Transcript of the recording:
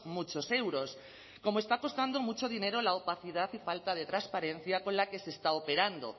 muchos euros como está costando mucho dinero la opacidad y falta de transparencia con la que se está operando